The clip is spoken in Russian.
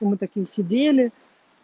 мы такие сидели